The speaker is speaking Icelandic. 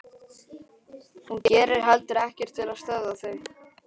Hún gerir heldur ekkert til að stöðva þau.